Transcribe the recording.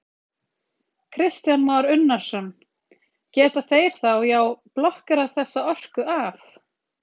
Kristján Már Unnarsson: Geta þeir þá, já, blokkerað þessa orku af?